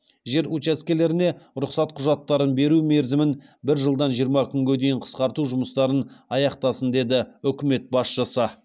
жер учаскелеріне рұқсат құжаттарын беру мерзімін бір жылдан жиырма күнге дейін қысқарту жұмыстарын аяқтасын деді үкімет басшысы